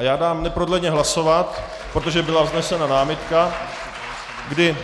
A já dám neprodleně hlasovat, protože byla vznesena námitka, kdy